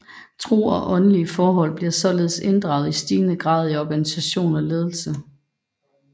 Tro og åndelige forhold bliver således inddraget i stigende grad i organisation og ledelse